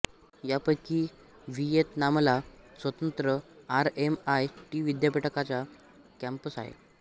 या पैकी व्हियेतनामला स्वतंत्र आर एम आय टी विद्यापीठाचा कॅंपस आहे